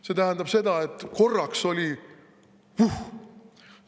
See tähendab seda, et korraks oli puhh.